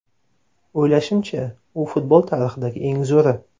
O‘ylashimcha, u futbol tarixidagi eng zo‘ri.